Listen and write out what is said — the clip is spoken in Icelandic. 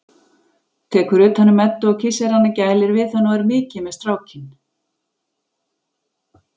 Tekur utan um Eddu og kyssir hana, gælir við hana og er mikið með strákinn.